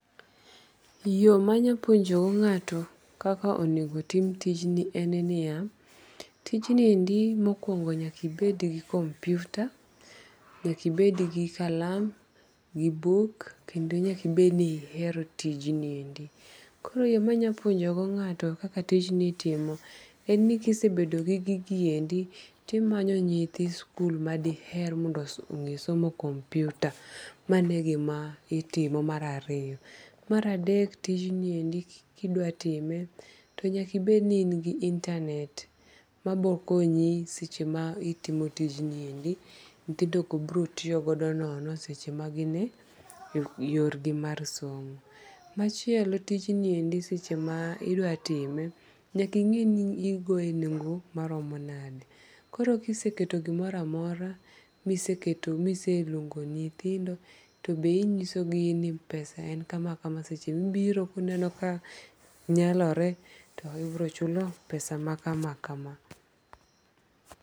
Yo ma nyalo puonjogo nga'to kaka onego tim tijni en ni ya, tijniendi mokuongo nyaka ibed gi komputa nyaka ebed gi kalam gi buk kendo nyaka ibedni ehero tijniendi, koro yo ma nyalo puonjogo nga'to kaka tijigni itime en ni kisebedo gi gigiende to imanyo nyithi skul madiher nge somo komputa mano egima itimo, mara adek tijiniendi ka idwatime to nyaka ibedni in gi intanet mabokonyi seche ma itimo tijniendi nyithindogo biro tiyogodonono seche magini yorgi mag somo, machielo tinjni seche ma indwa time nyaka imed ni igoye e nengo maromo nade koro kiseketo gimoro amora miseketo miseluongo nyithindo to be inyisogi ni pesa en kamakama seche mibiro ineno ka nyalore to ibiro chulo pesa ma kama kama